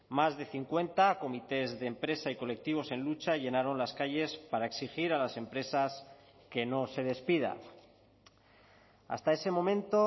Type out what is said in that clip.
más de cincuenta comités de empresa y colectivos en lucha llenaron las calles para exigir a las empresas que no se despida hasta ese momento